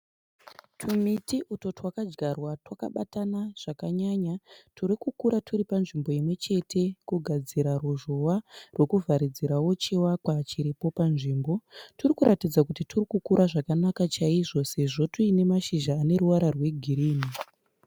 Tumiti utwo twakadzvarwa twakabatana zvakanyanya turi kukura twuri panzvimbo imwe chete kugadzira ruzhowa rwekuvharidzirawo chivakwa chiripo panzvimbo. Turikuratidza kuti twuri kukura zvakanaka chaizvo sezvo twuine mashizha ane ruvara rwegirini.